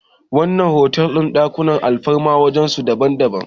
wannan otal din ɗakunan alfarma wajen su daban